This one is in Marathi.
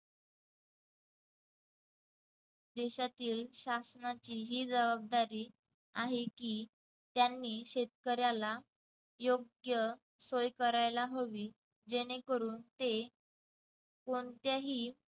देशातील शासनाची ही जबाबदारी आहे की त्यांनी शेतकऱ्याला योग्य सोय करायला हवी जेणेकरून ते कोणत्याही